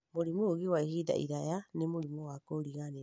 mũrimũ ũngĩ wa ihinda iraya nĩ mũrimũ wa kũriganĩrwo